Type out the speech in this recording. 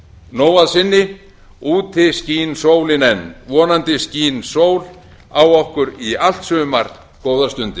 nóg að sinni úti skín sólin enn vonandi skín sól á okkur í allt sumar góðar stundir